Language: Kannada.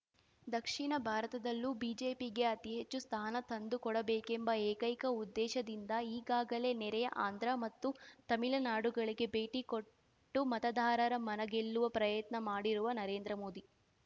ದಕ್ಷಿಣ ಭಾರತದಲ್ಲೂ ಬಿಜೆಪಿಗೆ ಅತಿಹೆಚ್ಚು ಸ್ಥಾನ ತಂದುಕೊಡಬೇಕೆಂಬ ಏಕೈಕ ಉದ್ದೇಶದಿಂದ ಈಗಾಗಲೇ ನೆರೆಯ ಆಂಧ್ರ ಮತ್ತು ತಮಿಳುನಾಡುಗಳಿಗೆ ಭೇಟಿಕೊಟ್ಟು ಮತದಾರರ ಮನಗೆಲ್ಲುವ ಪ್ರಯತ್ನ ಮಾಡಿರುವ ನರೇಂದ್ರ ಮೋದಿ